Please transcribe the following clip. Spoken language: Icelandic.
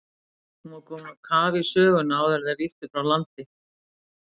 Hún var komin á kaf í söguna áður en þeir ýttu frá landi.